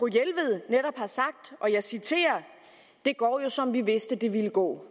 jelved netop har sagt og jeg citerer det går jo som vi vidste det ville gå